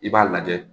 I b'a lajɛ